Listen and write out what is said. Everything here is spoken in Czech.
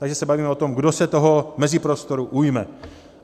Takže se bavíme o tom, kdo se toho meziprostoru ujme.